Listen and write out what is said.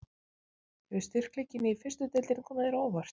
Hefur styrkleikinn í fyrstu deildinni komið þér á óvart?